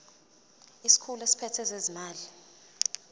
isikhulu esiphethe ezezimali